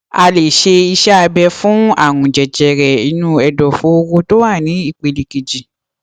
a lè ṣe iṣẹ abẹ fún àrùn jẹjẹrẹ inú ẹdọfóró tó wà ní ìpele kejì